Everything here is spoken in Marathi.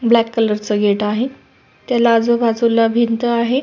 ब्लॅक कलर च गेट आहे त्याला आजूबाजूला भिंत आहे.